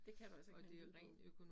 Det kan du altså ikke med en lydbog